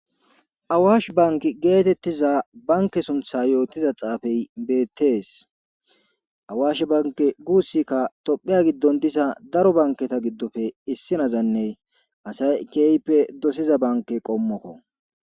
Awaash bank geetettiza banke suntha yootiza xaafey beettees awaash bank guussikka tophiya giddon disa daro banketa giddofe issinazanne asay keeype dosiza banke qommokko